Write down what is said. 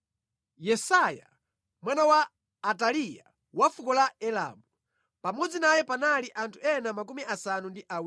Yesaiya, mwana wa Ataliya wa fuko la Elamu. Pamodzi naye panali anthu ena 70.